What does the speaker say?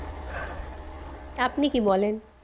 তা আপনি কি বলেন?